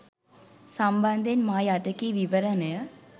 සම්බන්ධයෙන් මා යට කී විවරණය